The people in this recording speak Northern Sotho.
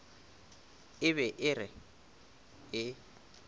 e be e re e